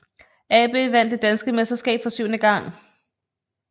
AB vandt det danske mesterskab for syvende gang